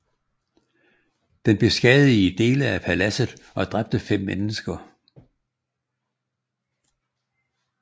Den beskadigede dele af paladset og dræbte fem mennesker